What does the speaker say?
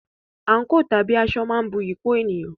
Àǹkò/aṣọ máa ń bu iyì kún ènìyàn.